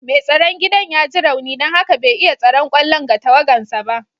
Mai tsaron gidan ya ji rauni don haka bai iya tsaron kwallon ga tawagansa ba.